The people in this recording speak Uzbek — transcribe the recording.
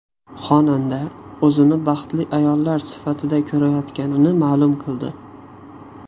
Xonanda o‘zini baxtli ayollar safida ko‘rayotganini ma’lum qildi.